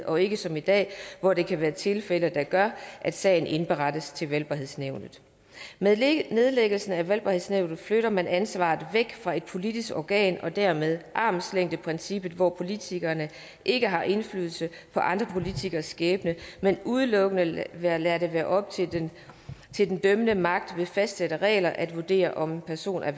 og ikke som i dag hvor der kan være tilfælde der gør at sagen indberettes til valgbarhedsnævnet med nedlæggelsen af valgbarhedsnævnet flytter man ansvaret væk fra et politisk organ og styrker dermed armslængdeprincippet hvor politikerne ikke har indflydelse på andre politikeres skæbne men udelukkende lader lader det være op til den til den dømmende magt ved fastsatte regler at vurdere om en person er